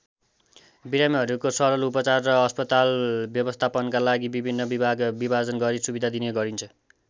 बिरामीहरूको सरल उपचार र अस्पताल व्यवस्थापनका लागी विभिन्न विभागमा विभाजन गरि सुविधा दिने गरिन्छ।